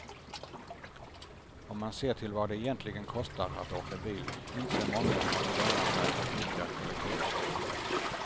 Om man ser till vad det egentligen kostar att åka bil inser många att det lönar sig att nyttja kollektivtrafiken.